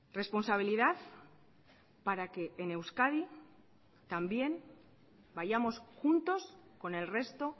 responsabilidad para que en euskadi también vayamos juntos con el resto